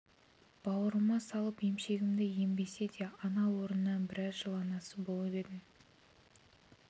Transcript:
бауырыма салып емшегімді ембесе де ана орнына біраз жыл анасы болып едім